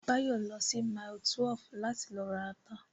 Báyọ̀ lọ sí mile 12 láti lọ ra ata